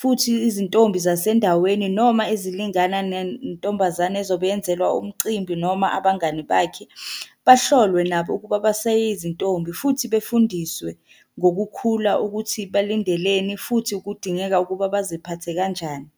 futhi izintombi zasendaweni noma ezilingana nentombazane ezobe yenzelwa umcimbi noma abangani bakhe. Bahlolwe nabo ukuba baseyizintombi, futhi befundiswe ngokukhula ukuthi balindeleni futhi kudingeka ukuba baziphathe kanjani.